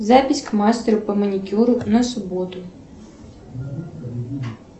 запись к мастеру по маникюру на субботу